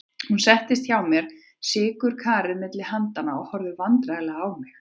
Hún settist hjá mér með sykurkarið milli handanna og horfði vandræðaleg á mig.